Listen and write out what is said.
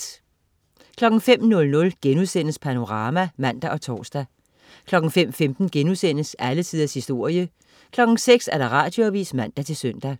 05.00 Panorama* (man og tors) 05.15 Alle tiders historie* 06.00 Radioavis (man-søn)